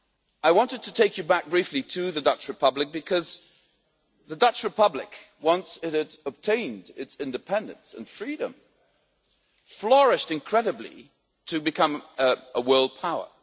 I wanted to take you back briefly to the Dutch Republic because the Dutch Republic, once it had obtained its independence and freedom, flourished incredibly to become a world power.